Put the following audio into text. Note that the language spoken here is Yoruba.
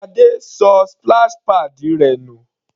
Sade ṣọ splash pads rẹ̀ nù.